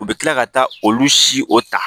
U bɛ tila ka taa olu si o ta